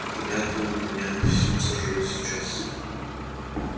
ты мяту у меня всю сожрёшь сейчас